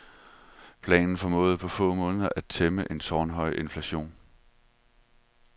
Planen formåede på få måneder at tæmme en tårnhøj inflation.